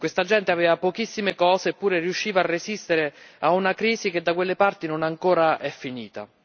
Questa gente aveva pochissime cose, eppure riusciva a resistere a una crisi che da quelle parti non è ancora finita.